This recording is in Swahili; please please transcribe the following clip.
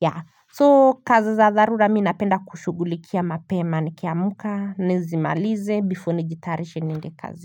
yeah So kazi za dharura mimi napenda kushugulikia mapema Nikiamka, nizimalize, before nijitayarishe niende kazi.